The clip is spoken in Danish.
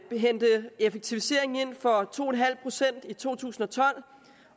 hente effektivisering ind for to en halv procent i to tusind og tolv